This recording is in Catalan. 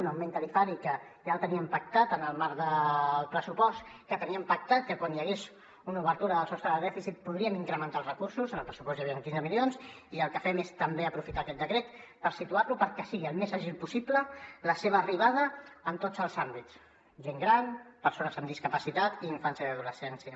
un augment tarifari que ja el teníem pactat en el marc del pressupost que teníem pactat que quan hi hagués una obertura del sostre de dèficit podríem incrementar els recursos en el pressupost hi havien quinze milions i el que fem és també aprofitar aquest decret per situar lo perquè sigui el més àgil possible la seva arribada en tots els àmbits gent gran persones amb discapacitat i infància i adolescència